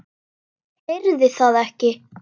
Heyrði það ekki.